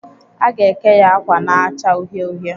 Aga eke ya akwa na-acha uhie uhie.